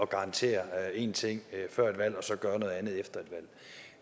garantere én ting før et valg og så gøre noget andet efter et valg